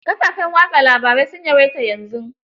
Kafafen wasa labarai sun yawaita yanzu.